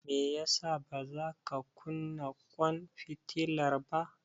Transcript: Me yasa bazaka kunna ƙwan fitilar ba.